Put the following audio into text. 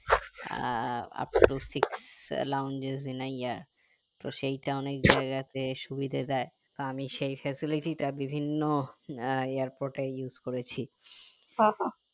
ah up to six lawns তো সেইটা অনেক জায়গাতে সুবিধা দেয় তা আমি সেই facility টা বিভিন্ন airport এ use করেছি